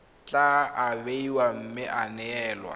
tla abiwa mme ya neelwa